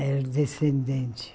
Era descendente.